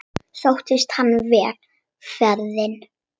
Sóttist henni vel ferðin.